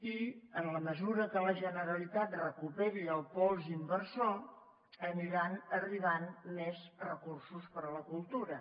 i en la mesura que la generalitat recuperi el pols inversor aniran arribant més recursos per a la cultura